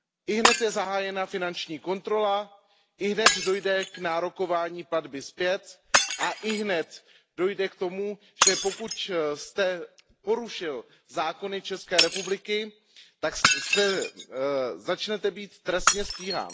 Ihned je zahájena finanční kontrola, ihned dojde k nárokování platby zpět a ihned dojde k tomu, že pokud jste porušil zákony České republiky, tak začnete být trestně stíhán.